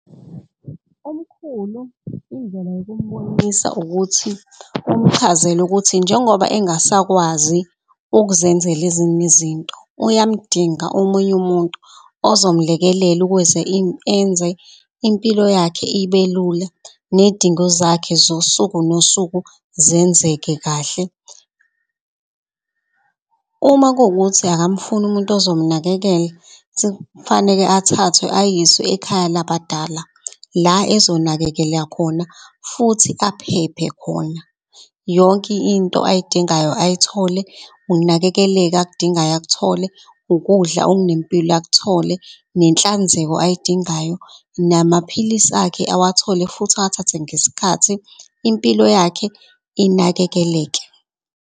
Umkhulu indlela yokumbonisa ukuthi umchazele ukuthi njengoba engasakwazi ukuzenzela ezinye izinto. Uyamdinga omunye umuntu ozomlekelela ukuze enze impilo yakhe ibelula, ney'dingo zakhe zosuku nosuku zenzeke kahle. Uma kukuthi akamfuni umuntu uzomnakekela kufaneke athathwe ayiswe ekhaya labadala la khona futhi aphephe khona. Yonke into ayidingayo, ay'thole ukunakekeleka akudingayo akuthole ukudla okunempilo akuthole, nenhlanzeko ay'dingayo. Namaphilisi akhe awathole futhi awathathe ngesikhathi impilo yakhe inakekeleke.